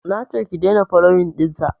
nace ki daina foloyin ɗinsa